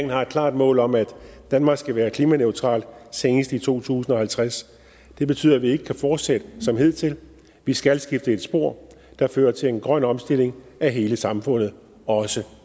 har et klart mål om at danmark skal være klimaneutralt senest i to tusind og halvtreds det betyder at vi ikke kan fortsætte som hidtil vi skal skifte til et spor der fører til en grøn omstilling af hele samfundet også